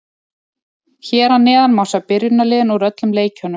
Hér að neðan má sjá byrjunarliðin úr öllum leikjunum.